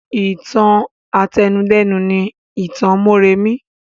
Ìtàn àtẹnudẹ́nu ni ìtàn mọ́remí